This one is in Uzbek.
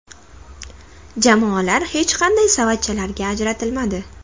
Jamoalar hech qanday savatchalarga ajratilmadi.